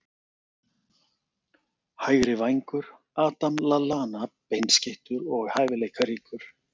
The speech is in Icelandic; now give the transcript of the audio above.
Hægri vængur- Adam Lallana Beinskeyttur og hæfileikaríkur.